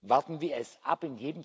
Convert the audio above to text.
Warten wir es ab.